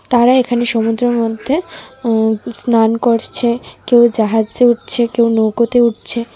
তারা এখানে সমুদ্রের মধ্যে উম স্নান করছে কেউ জাহাজে উঠছে কেউ নৌকোতে উঠছে.